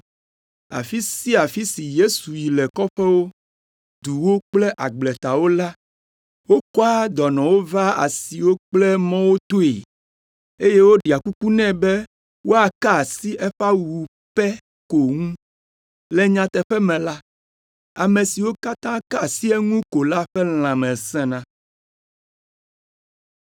Afi sia afi si Yesu yi le kɔƒewo, duwo kple agbletawo la, wokɔa dɔnɔwo vaa asiwo kple mɔwo toe, eye woɖea kuku nɛ be woaka asi eƒe awu pɛ ko ŋu. Le nyateƒe me la, ame siwo katã ka asi eŋu ko la ƒe lãme sẽna.